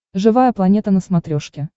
живая планета на смотрешке